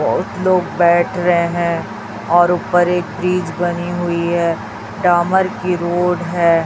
बहुत लोग बैठ रहे हैं और ऊपर एक फ्रिज बनी हुई है डामर की रोड है।